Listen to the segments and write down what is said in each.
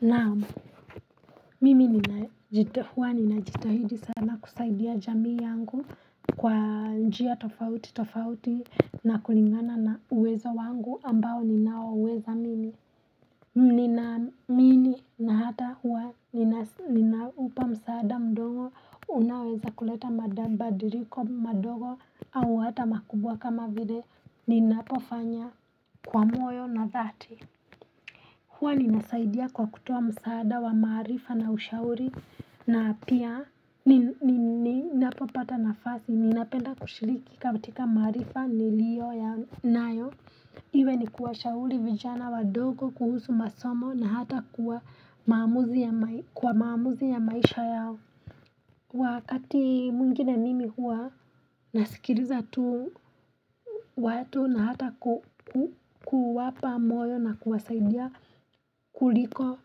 Naam mimi huwa ninajitahidi sana kusaidia jamii yangu kwa njia tofauti tofauti na kulingana na uwezo wangu ambao ninaoweza mimi ninaamini na hata huwa ninaupa msaada mdogo unaoweza kuleta mabadiliko madogo au hata makubwa kama vile ninapofanya kwa moyo na dhati huwa ninasaidia kwa kutoa msaada wa maarifa na ushauri na pia ninapopata nafasi ninapenda kushiriki katika maarifa nilio nayo iwe ni kuwashauri vijana wadogo kuhusu masomo na hata kwa maamuzi ya maisha yao. Wakati mwingine mimi huwa nasikiliza tu watu na hata kuwapa moyo na kuwasaidia kuliko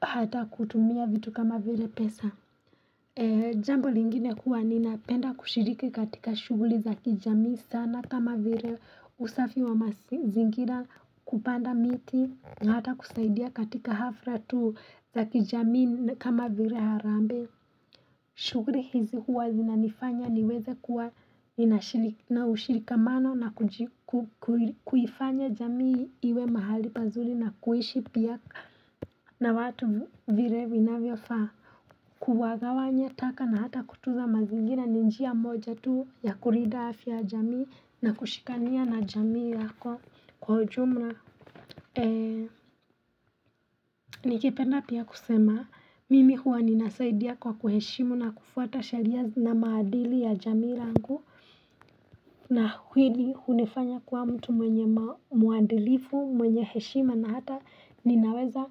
hata kutumia vitu kama vile pesa Jambo lingine huwa ninapenda kushiriki katika shughuli za kijamii sana kama vile usafi wa mazingira kupanda miti na hata kusaidia katika hafla tu za kijamii kama vile harambe shughuli hizi huwa zinanifanya niweze kuwa na ushikamano na kujifanya jamii iwe mahali pazuri na kuishi pia na watu vile vinavyofaa. Kuwagawanye taka na hata kutunza mazingira ni njia moja tu ya kulinda afya jamii na kushikania na jamii yako kwa ujumla. Ee nikipenda pia kusema mimi huwa ninasaidia kwa kuheshimu na kufuata sheria na maadili ya jamii la langu na hili hunifanya kuwa mtu mwenye mwadilifu mwenye heshima na hata ninaweza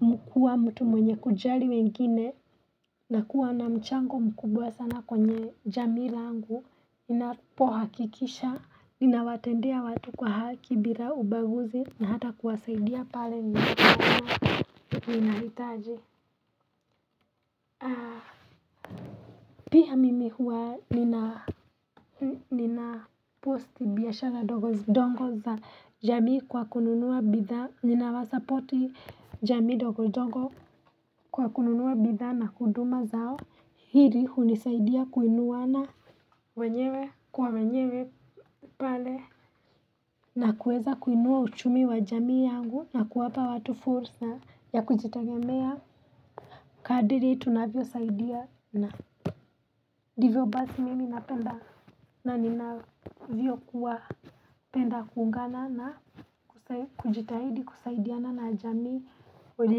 kukuwa mtu mwenye kujali wengine na kuwa na mchango mkubwa sana kwenye jamii langu ninapohakikisha ninawatendea watu kwa haki bila ubaguzi na hata kuwasaidia pale ninahitaji pia mimi huwa nina ninapost biashara ndogondongo za jamii kwa kununua bidhaa ninawasapoti jamii ndogondongo kwa kununua bidhaa na huduma zao hili hunisaidia kuinuana wenyewe kwa wenyewe pale na kuweza kuinua uchumi wa jamii yangu na kuwapa watu fursa ya kujitigemea kadri tunavyosaidiana ndivyo basi mimi napenda na ninavyokuwa penda kuungana na kujitahidi kusaidiana na jamii wele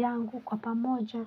yangu kwa pamoja.